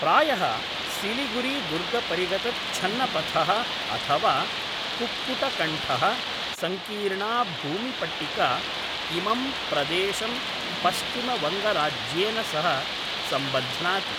प्रायः सिलिगुरीदुर्गपरिगतच्छन्नपथः अथवा कुक्कुटकण्ठः, सङ्कीर्णा भूमिपट्टिका इमं प्रदेशं पश्चिमवङ्गराज्येन सह सम्बध्नाति।